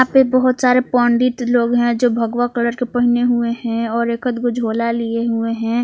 पे बहुत सारे पंडित लोग हैं जो भगवा कलर के पहने हुए हैं और एकध गो झोला लिए हुए हैं।